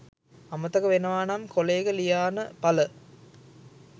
අමතක වෙනවානම් කොලයක ලියාන පල